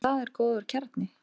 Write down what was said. En það er góður kjarni.